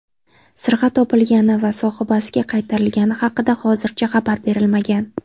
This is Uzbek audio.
Sirg‘a topilgani va sohibasiga qaytarilgani haqida hozircha xabar berilmagan.